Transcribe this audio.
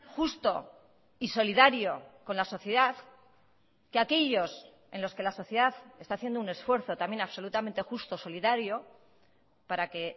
justo y solidario con la sociedad que aquellos en los que la sociedad está haciendo un esfuerzo también absolutamente justo solidario para que